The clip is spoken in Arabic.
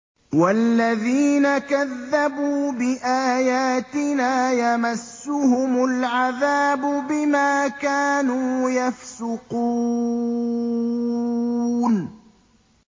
وَالَّذِينَ كَذَّبُوا بِآيَاتِنَا يَمَسُّهُمُ الْعَذَابُ بِمَا كَانُوا يَفْسُقُونَ